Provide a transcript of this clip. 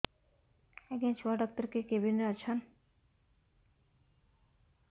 ଆଜ୍ଞା ଛୁଆ ଡାକ୍ତର କେ କେବିନ୍ ରେ ଅଛନ୍